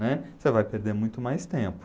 Né? Você vai perder muito mais tempo.